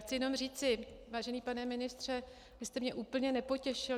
Chci jenom říci, vážený pane ministře, vy jste mě úplně nepotěšil.